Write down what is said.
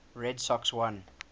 red sox won